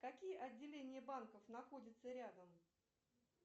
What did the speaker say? какие отделения банков находятся рядом